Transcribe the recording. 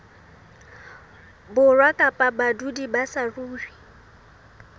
borwa kapa badudi ba saruri